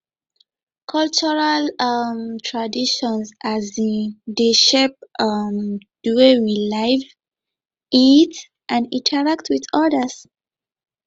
cultural um traditions um dey shape um di way we live eat and interact with odas